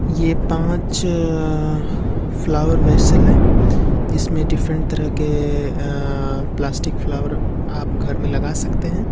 ये पांच अ फ्लावर वेसल हैं जिसमें अलग तरह के आ अ प्लास्टिक फ्लावर आप घर में लगा सकते हैं।